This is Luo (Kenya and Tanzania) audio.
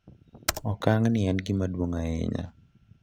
Okang’ ni en gima duong’ ahinya,